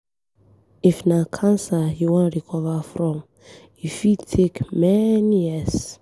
If na cancer you wan recover from, e fit take many years.